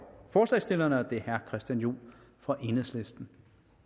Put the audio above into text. forslagsstillerne og det er herre christian juhl fra enhedslisten